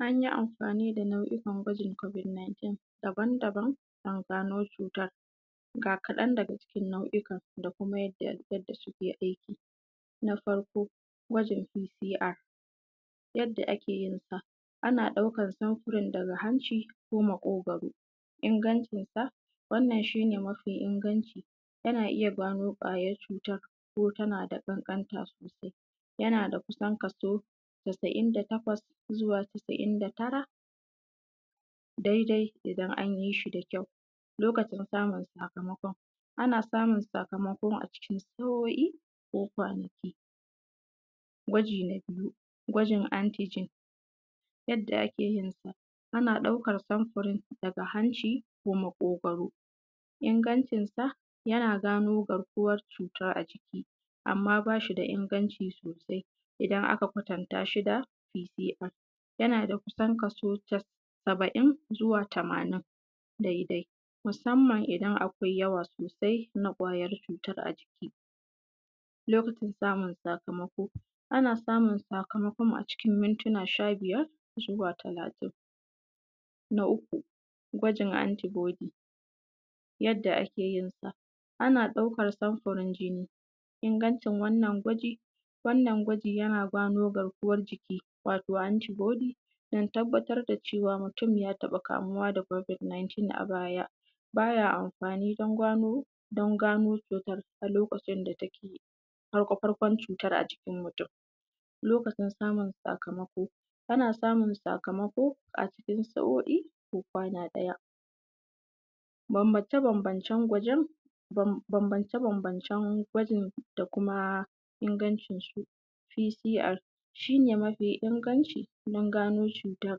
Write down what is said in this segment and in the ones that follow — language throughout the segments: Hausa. an yi amfani da nau’ukan gwajin covid 19 daban daban aka gano cutar ga kaɗan daga cikin nau’ukan da kuma yadda suke aiki na farko gwajin c c r yadda ake yinsa ana ɗaukar samfurin daga hanci ko maƙogwaro ingancinsa wannan shi ne mafi inganci ana iya gano ƙwayar cutar ko tana da ƙanƙanta sosai sosai tana da kusan kaso casa’in da takwas zuwa casa’in da tara daidai idan an yi shi da kyau lokacin samun sakamakon ana samun sakamakon a cikin sa’o’i ko kwanaki gwaji na biyu gwajin antigen yadda ake yinsa ana ɗaukar samfurin daga hanci ko maƙogwaro ingancinsa yana gano garkuwar a jiki amma ba shi da inganci sosai idan aka kwatanta shi da p c o yana da kaso kusan saba’in zuwa tamanin daidai musamman idan akwai yawa sosai na ƙwayar cutar a jiki samun sakamako ana samun sakamako cikin mintuna sha biyar zuwa talatin na uku gwajin anti body yadda ake yin sa ana ɗaukar samfurin jini ingancin wannan gwaji wannan gwaji yana gano garkuwar jiki wato anti body don tabbatar da cewa mutum ya taɓa kamuwa da covid 19 a baya ba ya amfani don gano don gano cutar a lokacin da take farko farkon cutar a jikin mutum lokacin samun sakamako ana samun sakamako a cikin sa’o’i ko kwana ɗaya bambance bambancen gwajin da kuma ingancinsu shi ne mafi inganci don gano cutar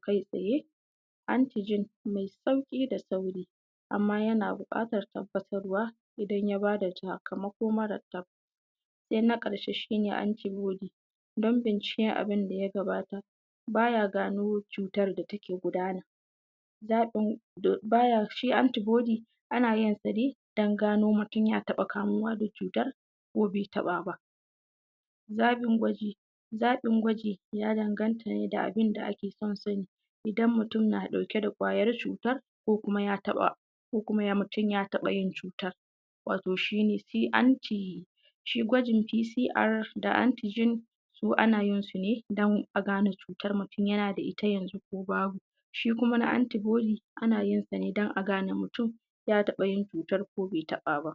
kai tsaye antigen mai sauƙi da sauri amma yana buƙatar tabbatarwa idan ya ba da sakamako mara tabbas sai na ƙarshe shi ne anti body don binciken abin da ya gabata ba ya gano cutar da take gudana shi anti body ana yin sa ne don gano mutum ya taɓa kamuwa da cutar ko bai taɓa ba zaɓin gwaji zaɓin gwaji ya danganta ne da ake son sani idan mutum yana ɗauke da ƙwayar cutar ko kuma ko kuma ko kuma mutum ya taɓa yin cutar wato shi ne c and t shi gwajin p c r da antigen duk ana yin su ne don a gane cutar mutum yana da ita yanzu ko babu shi kuma na anti body ana yin sa ne don a gane mutum ya taɓa yin cutar ko bai taɓa ba